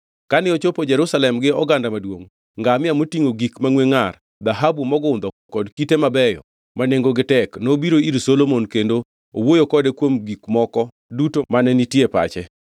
Kane ochopo Jerusalem gi oganda maduongʼ, ngamia motingʼo gik mangʼwe ngʼar, dhahabu mogundho kod kite mabeyo ma nengogi tek nobiro ir Solomon kendo owuoyo kode kuom gik moko duto mane nitie e pache.